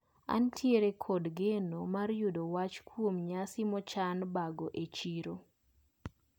Antiere kod geno mar yudo wach kuom nyasi mochan bago e chiro.